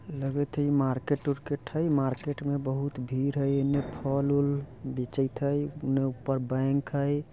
लगइत हई ई मार्केट उरकेट हई मार्केट मे बहुत भीड़ हई एने फल उल बेचईत हई ओने ऊपर बैंक हई।